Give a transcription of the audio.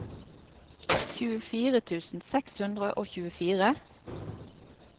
tjuefire tusen seks hundre og tjuefire